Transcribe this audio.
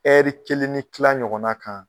Ɛri kelen ni tila ɲɔgɔn na kan